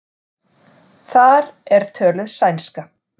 Þar er töluð sænska.